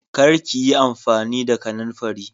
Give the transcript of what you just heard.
Kar ki yi amfani da kananfari